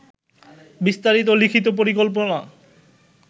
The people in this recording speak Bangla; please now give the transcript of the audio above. বিস্তারিত লিখিত পরিকল্পনা